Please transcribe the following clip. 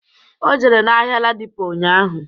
O jere n'ahịa ladipo ụnyaahụ